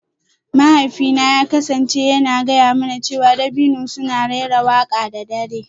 Mahaifina ya kasance yana gaya mana cewa dabino suna raira waƙa da dare